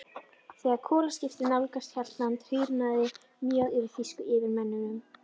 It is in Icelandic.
Þegar kolaskipið nálgaðist Hjaltland, hýrnaði mjög yfir þýsku yfirmönnunum.